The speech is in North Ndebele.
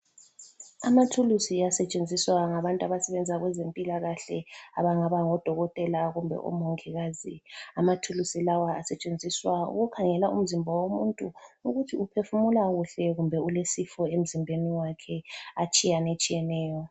Amathulusi asetshenziswa ngabantu abasebenza kwezempilakahle abangaba ngodokotela kumbe omongikazi. Amathuluzi lawa asetshenziswa ukukhangela umzimba womuntu ukuthi uphefumula kuhle kumbe ulesifo emzimbeni wakhe atshiyanetshiyeneyo.